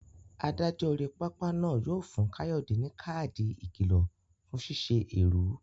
Adájọ́ orí pápá náà yóò fún Kayode ní káàdì ìkìlọ̀ fún ṣíṣe èrú.